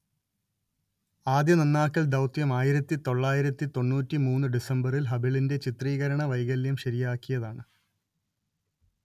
ആദ്യ നന്നാക്കൽ ദൗത്യം ആയിരത്തി തൊള്ളായിരത്തി തൊണ്ണൂറ്റി മൂന്ന് ഡിസംബറിൽ ഹബിളിന്റെ ചിത്രീകരണ വൈകല്യം ശരിയാക്കിയതാണ്